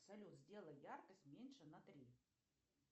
салют сделай яркость меньше на три